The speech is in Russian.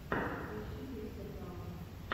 поищи криса брауна